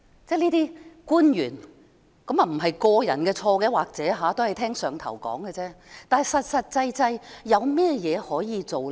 這些官員......或許不是個人的錯，他們可能只是聽從"上頭"的命令，但確實有甚麼可以做呢？